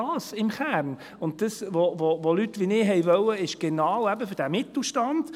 Das, was Leute wie ich wollten, ist eben genau für diesen Mittelstand.